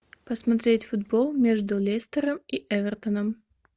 посмотреть футбол между лестером и эвертоном